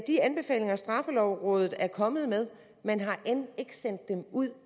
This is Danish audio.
de anbefalinger straffelovrådet er kommet med ud